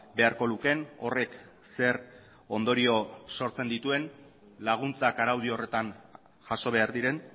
beharko lukeen horrek zer ondorio sortzen dituen laguntzak araudi horretan jaso behar diren